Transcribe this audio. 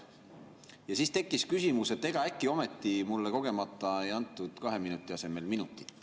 Ja siis tekkis küsimus, et ega äkki ometi mulle kogemata ei antud kahe minuti asemel minutit.